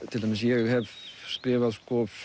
til dæmis ég hef skrifað